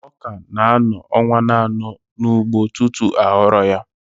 Ọka na-anọ ọnwa anọ n'ugbo tutu aghọrọ ya